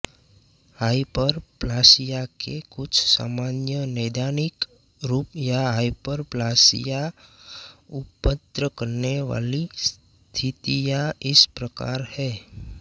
hyperplasia के कुछ सामान्य नैदानिक रूप या हाइपरप्लासिया उत्पन्न करने वाली स्थितियां इस प्रकार हैं